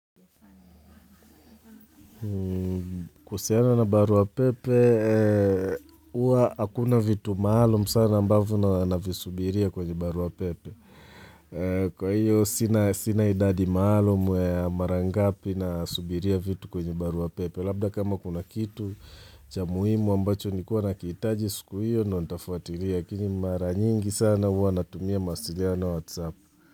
Kuwasiliana na barua pepe, huwa hakuna vitu maalum sana ambavyo navisubiria kwenye barua pepe, kwa hiyo sina sina idadi maalum ya mara ngapi nasubiria vitu kwenye barua pepe, labda kama kuna kitu cha muhimu ambacho nilikuwa nakihitaji siku hiyo ndiyo nitafuatilia, lakini mara nyingi sana huwa natumia mawasiliano WhatsApp.